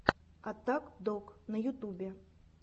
аттак дог на ютубе